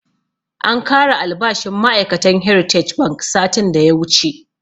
An kara albashin ma'ai'katan heritage bank satin da ya wuche